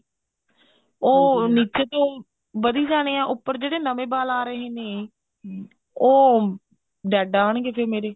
ਉਹ ਨਿੱਚੇ ਤੋਂ ਵਧੀ ਜਾਣੇ ਆ ਉੱਪਰ ਤੋਂ ਜਿਹੜੇ ਨਵੇਂ ਵਾਲ ਆ ਰਹੇ ਨੇ ਉਹ dead ਆਣਗੇ ਫੇਰ ਮੇਰੇ